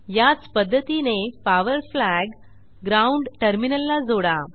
याच पध्दतीने power flag ground टर्मिनलला जोडा